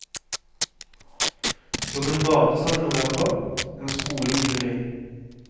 Som en badestrand i november, en skole i juli.